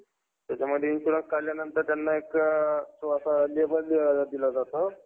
तिथून PAN card ration card, वगैरे तुझं काढलेलं नाहीये का PAN card?